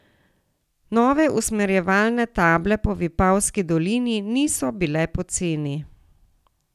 Nove usmerjevalne table po Vipavski dolini niso bile poceni.